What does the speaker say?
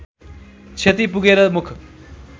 क्षति पुगेर मुख